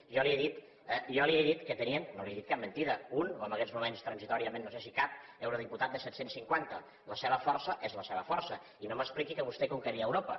jo li he dit que tenien no li he dit cap mentida un o en aguests moments transitòriament no sé si cap eurodiputat de set cents i cinquanta la seva força és la seva força i no m’expliqui que vostè conqueria europa